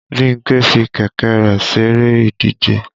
Bímpé fi kẹ̀kẹ́ rẹ̀ ṣeré ìdíje